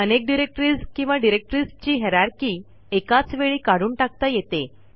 अनेक डिरेक्टरीज किंवा डिरेक्टरीजची हायररची एकाच वेळी काढून टाकता येते